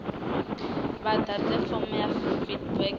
vha ḓadze fomo ya feedback